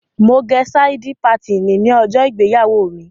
Mo gẹ sáídí patìnì ní ọjọ́ ìgbéyàwó mi.